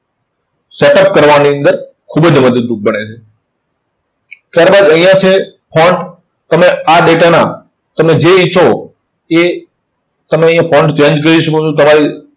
setup કરવાની અંદર ખુબ જ મદદરૂપ બને છે. ત્યાર બાદ અહીંયા છે તમે આ data ના તમે જે ઈચ્છો તે તમે અહીંયા change કરી શકો છો. તમારે